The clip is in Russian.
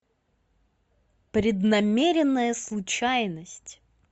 преднамеренная случайность